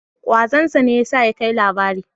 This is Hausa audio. Ƙwazon sa ne ya sa ya kai labari.